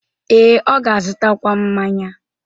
Ee, ọ ga-azụtakwu mmanya.